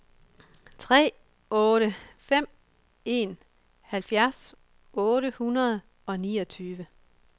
tre otte fem en halvfjerds otte hundrede og niogtyve